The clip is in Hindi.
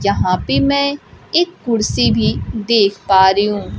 जहां पे मैं एक कुर्सी भी देख पा रही हूं।